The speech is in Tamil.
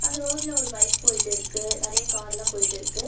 அந்த ரோட்ல ஒரு பைக் போயிட்டு இருக்கு. நெறைய கார்லா போயிட்டுருக்கு.